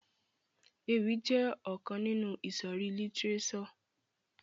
Ewì jẹ ọkan ninu ìsòrí lítírésò.